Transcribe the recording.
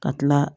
Ka tila